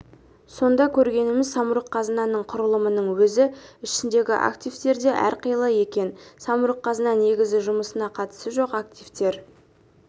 сонда көргеніміз самұрық-қазынаның құрылымының өзі ішіндегі активтер де әрқилы екен самұрық-қазына негізі жұмысына қатысы жоқ активтер